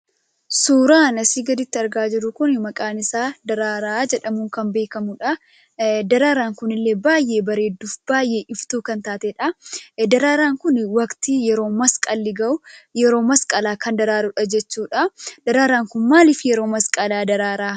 Suuraan asii gaditti argaa jirru kun maqaan isaa daraaraa jedhamuun kan beekamuudha. Daraaraan kunillee baay'ee bareedduu fi baay'ee iftuu kan taateedha. Daraaraan kun waqtii yeroo masqalli gahuu yeroo masqalaa kan daraarudha jechuudha. Daraaraan kun maaliif yeroo masqalaa daraaraa?